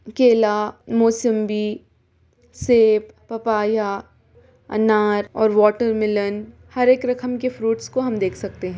केला मोसम्बी सेब पपाया अनार और वॉटरमेलन हर एक रकम के फ्रूइट्स को हम देख सकते हैं ।